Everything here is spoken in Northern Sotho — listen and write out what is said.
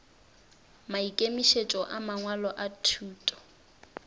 maikemišetšo a mangwalo a thuto